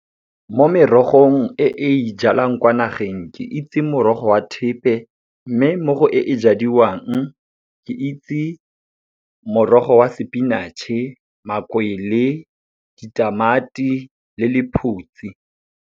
Mo merogong e e ijalang kwa nageng, ke itse morogo wa thepe. Mme morago e e jadiwang, ke itse morogo wa spinach-e, makwele, ditamati le lephutsi.